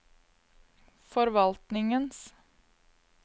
forvaltningens